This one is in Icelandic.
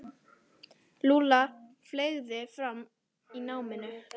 Lúlla fleygði fram í náminu.